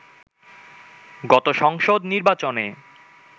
গত সংসদ নির্বাচনে